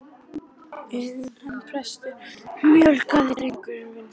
En hann er prestur, möglaði drengurinn vansæll.